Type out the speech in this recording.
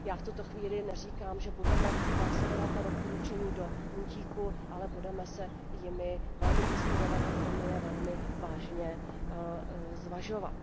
Já v tuto chvíli neříkám, že budeme následovat ta doporučení do puntíku, ale budeme se jimi velmi inspirovat a budeme je velmi vážně zvažovat.